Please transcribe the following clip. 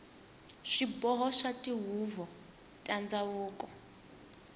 swiboho swa tihuvo ta ndhavuko